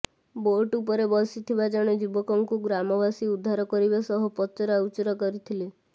boat ଉପରେ ବସିଥିବା ଜଣେ ଯୁବକଙ୍କୁ ଗ୍ରାମବାସୀ ଉଦ୍ଧାର କରିବା ସହ ପଚରାଉଚରା କରିଥିଲେ